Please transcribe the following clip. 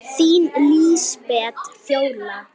Þín Lísbet Fjóla.